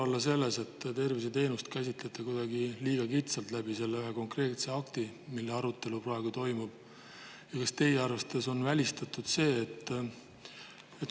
Kas teie arvates ei või olla mure selles, et te selle konkreetse akti puhul, mille arutelu praegu toimub, käsitlete tervishoiuteenust kuidagi liiga kitsalt?